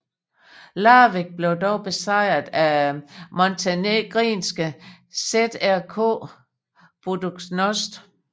Larvik blev dog besejret af montenegrinske ŽRK Budućnost